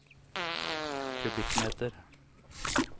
kubikkmeter